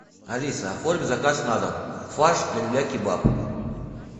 алиса оформи заказ на дом фарш для люля кебаб